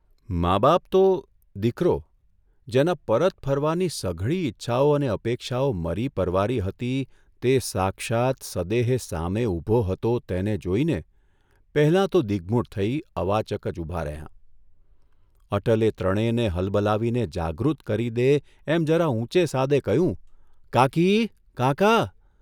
મા બાપ તો દીકરો જેના પરત ફરવાની સઘળી ઇચ્છાઓ અને અપેક્ષાઓ મરી પરવારી હતી તે સાક્ષાત્, સદેહે સામે ઊભો હતો તેને જોઇને પહેલાં તો દિગ્મૂઢ થઇ અવાચક જ ઊભાં રહ્યાં અટલે ત્રણેયને હલબલાવીને જાગૃત કરી દે એમ જરા ઊંચે સાદે કહ્યું, ' કાકી, કાકા!